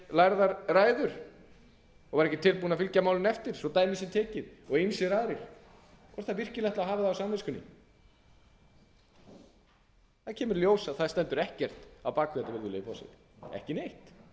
lærðar ræður og var ekki tilbúinn að fylgja málinu eftir svo dæmi sé tekið og ýmsir aðrir hvort hann ætlaði virkilega að hafa það á samviskunni það kemur í ljós að það stendur ekkert á bak við